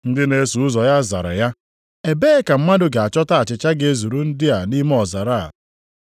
Ndị na-eso ụzọ ya zara ya, “Ebee ka mmadụ ga-achọta achịcha ga-ezuru ndị a nʼime ọzara a?”